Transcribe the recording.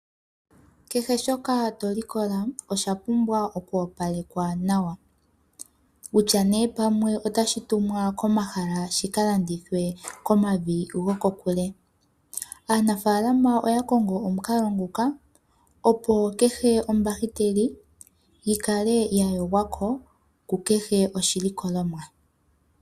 Keshe shoka tolikola oshapumbwa oku opalekwa nawa. Kutya neee pamwe otashi tumwa komahala shika landithwe komavi gokokule. Aanafaalama oya kongo omukalo nguka opo kehe ombakiteli yikale ya yogwako kehe koshilikolomwa.